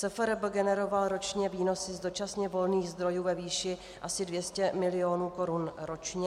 SFRB generoval ročně výnosy z dočasně volných zdrojů ve výši asi 200 milionů korun ročně.